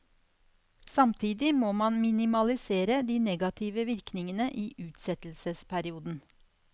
Samtidig må man minimalisere de negative virkningene i utsettelsesperioden.